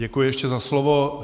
Děkuji ještě za slovo.